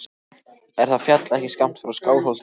Er það fjall ekki skammt frá Skálholti?